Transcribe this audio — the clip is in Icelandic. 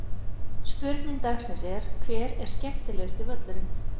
Spurning dagsins er: Hver er skemmtilegasti völlurinn?